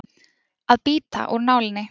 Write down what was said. Að bíta úr nálinni